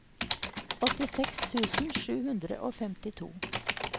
åttiseks tusen sju hundre og femtito